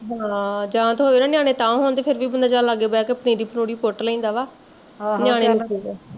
ਹਾਂ ਜਾਂ ਤਾਂ ਹੋਵੇ ਨਿਆਣੇ ਤਾਹ ਹੋਣ ਫੇਰ ਵੀ ਬੰਦਾ ਚੱਲ ਲਾਗੇ ਬਹਿ ਕੇ ਪਨੀਰੀ ਪੁਨੀਰੀ ਪੁੱਟ ਲੈਂਦਾ ਵਾ